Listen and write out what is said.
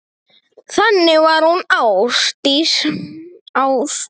Þannig var hún Ásdís.